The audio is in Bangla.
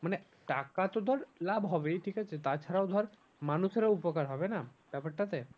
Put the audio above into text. মানে টাকা তো ধর লাভ হবেই ঠিক আছে তা ছাড়াও ধর মানুষেরও উপকার হবে না ব্যাপারটাতে।